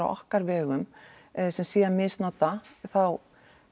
okkar vegum sem sé að misnota þá